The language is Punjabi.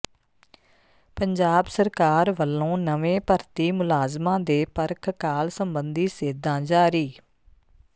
ਪੰਜਾਬ ਸਰਕਾਰ ਵੱਲੋਂ ਨਵੇਂ ਭਰਤੀ ਮੁਲਾਜ਼ਮਾਂ ਦੇ ਪਰਖ ਕਾਲ ਸਬੰਧੀ ਸੇਧਾਂ ਜਾਰੀ